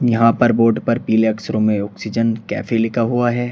यहां पर बोर्ड पर पीले अक्षरों में ऑक्सीजन कैफे लिखा हुआ है।